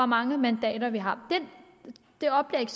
mange mandater vi har det oplæg